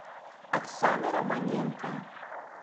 оксана романенко